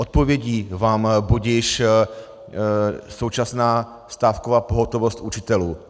Odpovědí vám budiž současná stávková pohotovost učitelů.